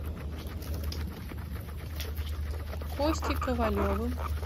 костей ковалевым